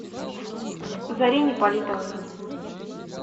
зарине политовой